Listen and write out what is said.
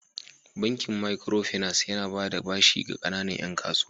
Bankin Makiro finas yana ba da bashi ga kanana 'yan kasuwa.